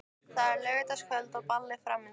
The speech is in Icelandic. Það er laugardagskvöld og ball framundan.